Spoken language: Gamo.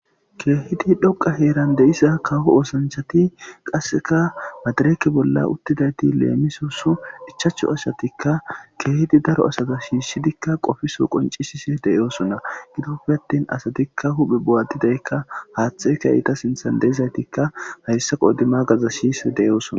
kehidi dhoqqa heran dizza kawo oosanchati qaseka madireke bolla uttidayti lemmisos ichcachu asati kehiddi daro asa shshishidi qoppiso qonccisishe de'ossona gidoppe atin asatika huphphe bo'atidayika haththeyika eta sinththan de'izayitika hayssa qodhdhe magaza shishi de'ossona.